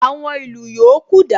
Àwọn ìlù yòókù dà?